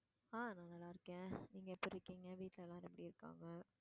ஆஹ் நான் நல்லா இருக்கேன் நீங்க எப்படி இருக்கீங்க வீட்டுல எல்லாரும் எப்படி இருக்காங்க?